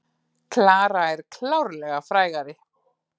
Klara er klárlega frægari.